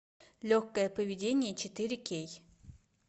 легкое поведение четыре кей